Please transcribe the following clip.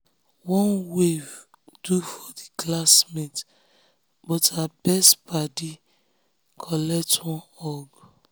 one wave do for the classmate but her best paddy collect one hug.